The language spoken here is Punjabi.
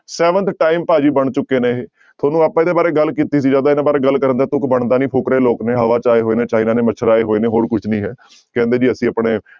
Seventh time ਭਾਜੀ ਬਣ ਚੁੱਕੇ ਨੇ ਇਹ ਤੁਹਾਨੂੰ ਆਪਾਂ ਇਹਦੇ ਬਾਰੇ ਗੱਲ ਕੀਤੀ ਸੀ ਜ਼ਿਆਦਾ ਇਹਨਾਂ ਬਾਰੇ ਗੱਲ ਕਰਨ ਦਾ ਤੁਕ ਬਣਦਾ ਨੀ ਫ਼ੁਕਰੇ ਲੋਕ ਨੇ ਹਵਾ ਚ ਆਏ ਹੋਏ ਨੇ ਚਾਈਨਾ ਨੇ ਮਛਰਾਏ ਹੋਏ ਨੇ ਹੋਰ ਕੁਛ ਨੀ ਹੈ, ਕਹਿੰਦੇ ਜੀ ਅਸੀਂ ਆਪਣੇ